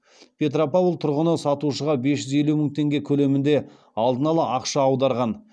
петропавл тұрғыны сатушыға бес жүз елу мың теңге көлемінде алдын ала ақша аударған